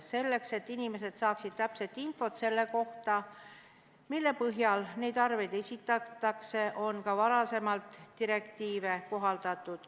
Selleks, et inimesed saaksid täpset infot selle kohta, mille põhjal arveid esitatakse, on ka varem direktiive kohaldatud.